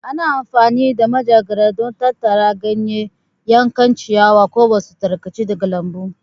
Ana amfani da manjagara don tattara ganye, yankan ciyawa, ko wasu tarkace daga lambu.